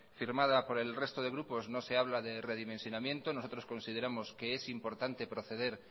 firmada por el resto de grupos no se habla de redimensionamiento nosotros consideramos que es importante proceder